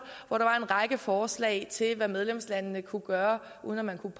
hvor der var en række forslag til hvad medlemslandene kunne gøre uden at man kunne